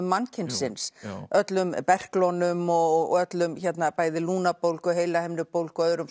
mannkynsins öllum berklunum og öllum bæði lungnabólgu heilahimnubólgu og öðrum